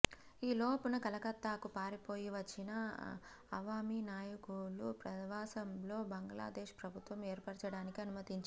ఈ లోపున కలకత్తాకు పారిపోయి వచ్చిన అవామీ నాయకులు ప్రవాసంలో బంగ్లాదేశ్ ప్రభుత్వం ఏర్పరచడానికి అనుమతించింది